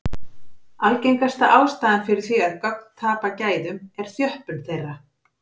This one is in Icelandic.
Algengasta ástæðan fyrir því að gögn tapa gæðum er þjöppun þeirra.